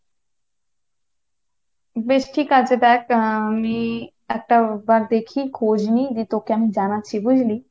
বেশ ঠিক আছে দেখ আমি একটা বার দেখি খোঁজ নেই, দিয়ে তোকে আমি জানাচ্ছি বুঝলি।